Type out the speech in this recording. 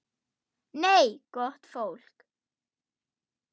Nei, gott fólk.